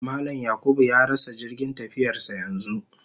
Mallam (James/Yakubu) ya rasa jirgin tafiyarsa yanzu